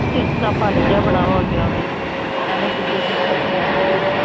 ਚਿੜਚਿੜਾ ਪਨ ਜਾ ਬੜਾ ਹੋਗਿਆ ਉਦੇ ਚ ਐਵੇ ਖਿਜਾ ਖਿਜਾ ਜਾ ਫਿਰਦਾ ਸਨ